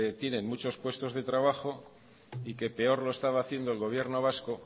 tienen muchos puestos de trabajo y que peor lo estaba haciendo el gobierno vasco